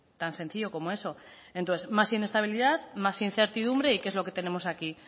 tan sencillo como eso entonces más inestabilidad más incertidumbre y qué es lo que tenemos aquí